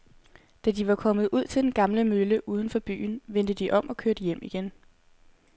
Da de var kommet ud til den gamle mølle uden for byen, vendte de om og kørte hjem igen.